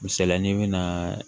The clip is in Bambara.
Misali la n'i bɛna